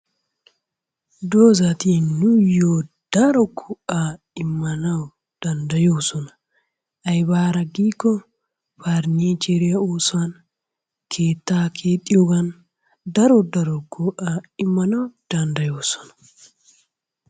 Doozzati nuuyo daro go'aa imanawu dandayoosona. Aybaara giikko parnicheriyaa oosuwan, keettaa keexxiyoogan daro daro go'aa immanawu dandayoosona.